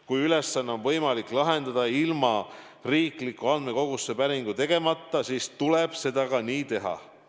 Kui ülesanne on võimalik lahendada ilma riiklikku andmekogusse päringut tegemata, siis tuleb nii ka teha.